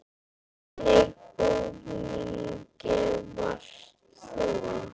Í hvernig búningi varst þú?